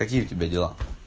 какие у тебя дела